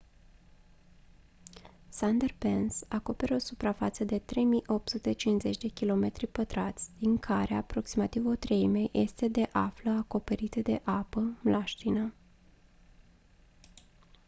sundarbans acoperă o suprafață de 3850 km² din care aproximativ o treime este de află acoperite de apă/mlaștină